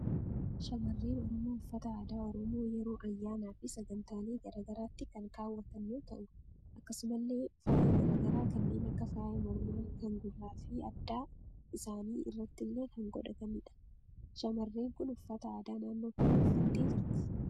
Shamarreen Oromoo uffata aadaa Oromoo yeroo ayyaanaa fi sagantaalee garagaraatti kan kaawwatan yoo ta'u, akkasumallee faaya garagaraa kanneen akka faaya mormaa, kan gurraa fi adda isaanii irrattillee kan godhatanidha. Shaamarreen kun uffata aadaa naannoo kamii uffattee jirti?